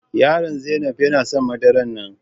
yaro Zainab yana son madaran nan.